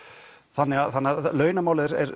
þannig að launamál er